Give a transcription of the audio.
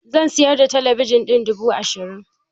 Zan sayar da talabijin ɗin duba ashirin